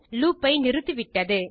loop ஐ நிறுத்தி விட்டது